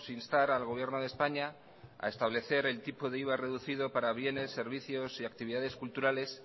instar al gobierno de españa a establecer el tipo de iva reducido para bienes servicios y actividades culturales